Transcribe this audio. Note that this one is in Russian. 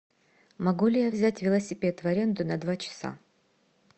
могу ли я взять велосипед в аренду на два часа